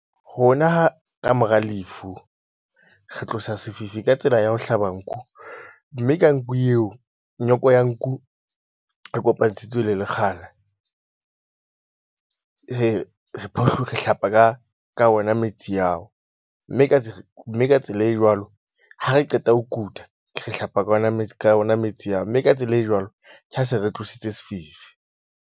Rona ka mora lefu, re tlosa sefifi ka tsela ya ho hlaba nku, mme ka nku eo, nyoko ya nku e kopantshitswe le lekgala re hlapa ka ka ona metsi ao. Mme ka mme ka tsela e jwalo, ha re qeta ho kuta. Re hlapa ka ona ka ona metsi ao mme ka tsela e jwalo ka ha se re tlositse sefifi.